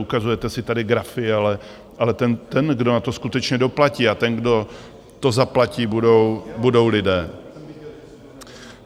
Ukazujete si tady grafy, ale ten, kdo na to skutečně doplatí, a ten, kdo to zaplatí, budou lidé.